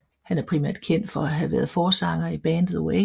Han er primært kendt for at have været forsanger i bandet Oasis